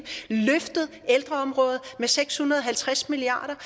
løftet ældreområdet med seks hundrede og halvtreds milliard